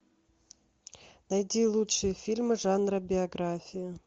найди лучшие фильмы жанра биография